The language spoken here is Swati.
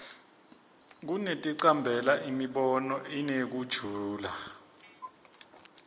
kunekuticambela imibono inekujula